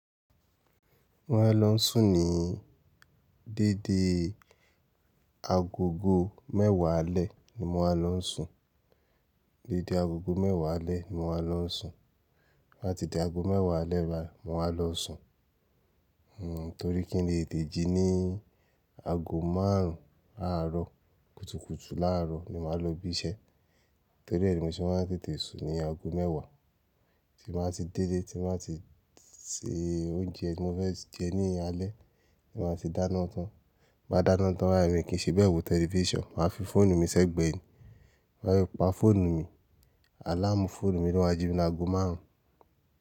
Mo máa n lọ sùn ní dẹ́dẹ́ aago mẹ́wàá alẹ́ ni mo wáa lọ n sùn. Dẹ́dẹ́ aago mẹ́wàá alẹ́ ni mo wáa lọ sùn. Bá ti di aago mẹ́wàá alẹ́ báyii, mo máa lọ sùn. Torí kí n lè tẹ̀tejí ní aago márùn-ún àárọ̀ kùtùkùtù láàárọ̀ ni màá lọ bí iṣẹ́. Torí ẹe ni mi ṣé máa ń tètè sùn ní aago mẹ́wàá, tí màá ti dẹ́dẹ́, tí màá ti se oúnjẹ tí mo fẹ́ jẹ ní alẹ́, tí màá ti dáná tán. Máa dáná tán báyii mi kì í ṣe bẹ́ẹ̀ wò tẹlifíṣàn, màá fi fóònù mi sẹ́gbẹ̀ẹ́ mi. Máa rí pa fóònù mi, àláàmù fóònù mi to ba ti jí mi ní aago márùn-ún.